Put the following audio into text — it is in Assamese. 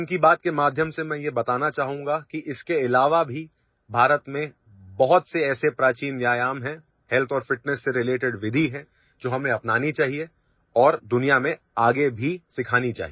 মন কী বাতৰ দ্বাৰা মই কব বিচাৰো যে ইয়াৰ বাহিৰেও ভাৰতত বহুতো পুৰণি শৰীৰ ব্যায়ামৰ কৌশল আছে স্বাস্থ্য আৰু ফিটনেছৰ সৈতে জড়িত নিয়ম আছে যিবোৰ আমি গ্ৰহণ কৰি সমগ্ৰ বিশ্বক শিকাব লাগে